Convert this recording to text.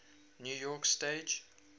new york stage